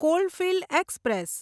coalfield express